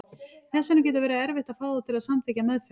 Þess vegna getur verið erfitt að fá þá til að samþykkja meðferð.